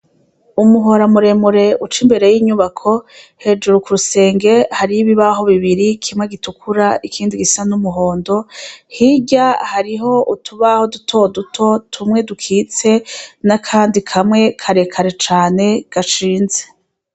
Umuhora muremure uca imbere y' inyubako, hejuru ku rusenge hariyo ibibaho bibiri, kimwe gitukura ikindi gisa n' umuhondo, hirya hariho utubaho dutoduto tumwe dukitse n' akandi kamwe kare kare cane, gashinze.